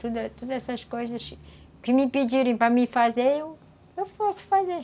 Todas todas essas coisas que me pediram para eu fazer, eu posso fazer.